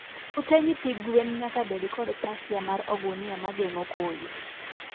ote nyithi gwen nyaka bed kod pasia mar ogunia ma geng'o koyo